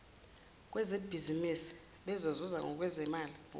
kwezebhizimisi bezozuza ngokwemali